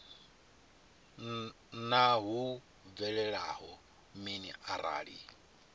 naa hu bvelela mini arali